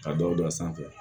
Ka dɔw da sanfɛ